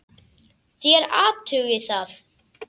Þér athugið það.